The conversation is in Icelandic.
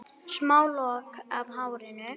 Smá lokk af hárinu.